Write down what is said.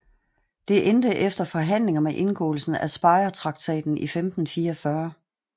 Det endte efter forhandlinger med indgåelsen af Speyertraktaten i 1544